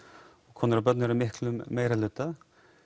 konur og börn eru í miklum meirihluta